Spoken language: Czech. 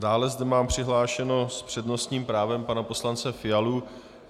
Dále zde mám přihlášeného s přednostním právem pana poslance Fialu.